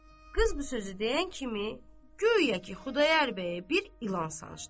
Qız bu sözü deyən kimi, guya ki Xudayar bəyə bir ilan sancdı.